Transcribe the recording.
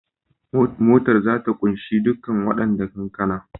Motar za ta kunshi dukkan wadannan kankana